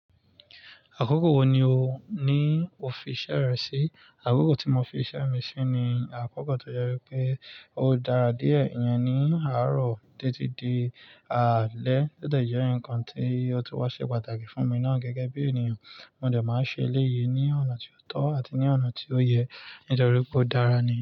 Àkókò wo ni o ní o fi iṣẹ́ rẹ sí? Àkókò tí mo fi iṣẹ́ mi sí ni àkókò tí ó jẹ wípé ó dára díẹ̀, ìyẹn ni àárọ̀ títí di àálẹ́, ó de jẹ́ ǹkan tí ó tun wá ṣe pàtàkì fún mi ná gẹ́gẹ́ bí ènìyàn. Mo dẹ̀ máa ṣe eléyìí ní ọ̀nà tí ó tọ́ àti ní ọ̀nà tí ó yẹ nítorí pé ó dára ni.